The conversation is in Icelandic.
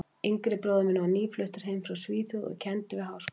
yngri bróðir minn var nýfluttur heim frá Svíþjóð og kenndi við Háskólann.